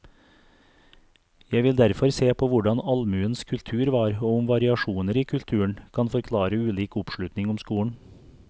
Jeg vil derfor se på hvordan allmuens kultur var, og om variasjoner i kulturen kan forklare ulik oppslutning om skolen.